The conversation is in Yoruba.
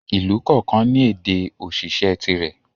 Ìlú kọ̀ọ̀kan ní ède òṣìṣẹ́ tìrẹ.